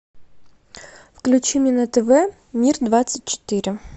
включи мне на тв мир двадцать четыре